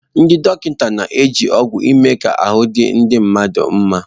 Ndị dọkịta na-eji ọgwụ eme ka ahụ́ di ndị mmadụ nma.